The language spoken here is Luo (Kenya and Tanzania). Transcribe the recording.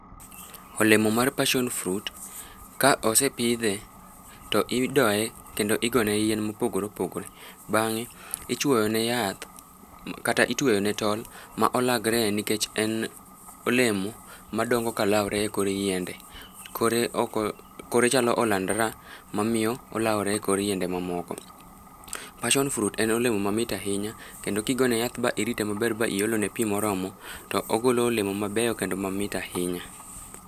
Olemo mar passion fruit ka osepidhe, to idoye, kendo igone yien mopogore opogore. Bangé ichwoyo ne yath, kata itweyo ne tol ma olagre nikech en olemo madongo ka laore e kor yiende. Kore oko, kore chalo olandra mamiyo olaore e kor yende mamoko. passion fruit en olemo mamit ahinya, kendo ki goyo ne yath, ba irite maber, ba iolone pi moromo to ogolo olemo mabeyo, kendo mamit ahinya.